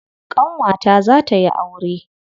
Ƙanwata za ta yi aure.